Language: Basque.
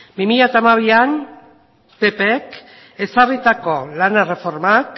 bi mila hamabian ppk ezarritako lan erreformak